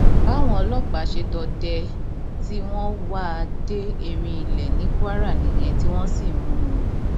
báwọn ọlọpàá ṣe dọdẹ ẹ tí wọn wá a dé erinilẹ ní kwara nìyẹn tí wọn sì mú un